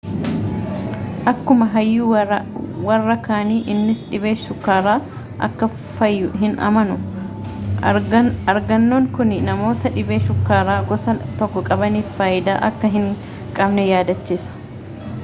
akkuma hayyuu warra kaanii innis dhibeen shukkaaraa akka fayyu hin amanu argannoon kuni namoota dhibee shukkaara gosa 1 qabaniif faayidaa akka hin qabne yaadachiisa